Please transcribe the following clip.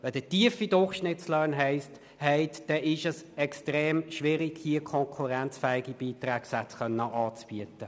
Wenn Sie tiefe Durchschnittslöhne haben, ist es extrem schwierig, konkurrenzfähige Beitragssätze anzubieten.